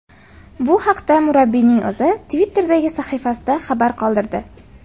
Bu haqda murabbiyning o‘zi Twitter’dagi sahifasida xabar qoldirdi.